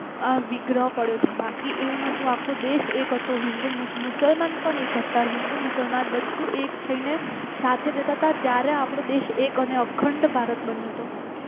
અમ વિગ્રહ પડે છે બાકી એવું ન હતું આખો દેશ એક હતો હિંદુ મુસલમાન પણ એક હતા હિન્દુ મુસલમાન બધું એક થઈને સાથે રહેતા હતા ત્યારે આપણો દેશ એક હતો અને અખંડ ભારત બન્યો હતો